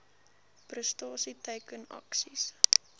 prestasie teiken aksies